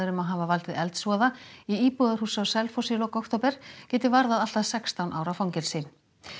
um að hafa valdið eldsvoða í íbúðarhúsi á Selfossi í lok október geti varðað allt að sextán ára fangelsi